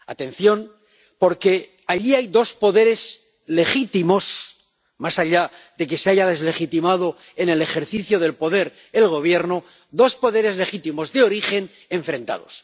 atención, porque allí hay dos poderes legítimos —más allá de que se haya deslegitimado en el ejercicio del poder el Gobierno—, dos poderes legítimos de origen, enfrentados.